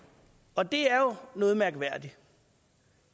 og det er jo noget mærkværdigt